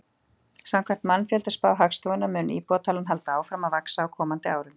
Samkvæmt mannfjöldaspá Hagstofunnar mun íbúatalan halda áfram að vaxa á komandi árum.